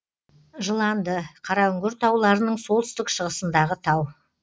жыланды қараүңгір тауларының солтүстік шығысындағы тау